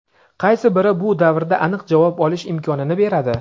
Qaysi biri bu davrda aniq javob olish imkonini beradi?.